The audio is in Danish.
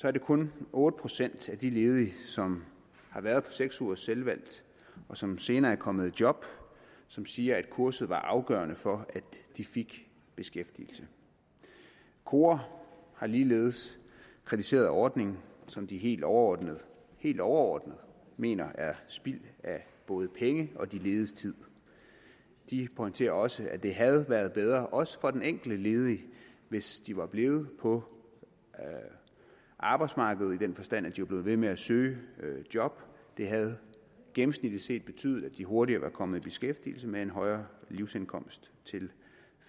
er det kun otte procent af de ledige som har været på seks ugers selvvalgt og som senere er kommet i job som siger at kurset var afgørende for at de fik beskæftigelse kora har ligeledes kritiseret ordningen som de helt overordnet helt overordnet mener er spild af både penge og de lediges tid de pointerer også at det havde været bedre også for den enkelte ledige hvis de var blevet på arbejdsmarkedet i den forstand at de var blevet ved med at søge job det havde gennemsnitligt set betydet at de hurtigere var kommet i beskæftigelse med en højere livsindkomst til